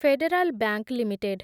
federal Bank limited